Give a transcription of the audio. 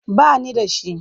Ba ni da shi.